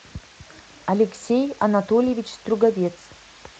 алексей анатольевич струговец